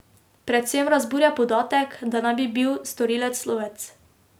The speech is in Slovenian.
Predvsem razburja podatek, da naj bi bil storilec lovec.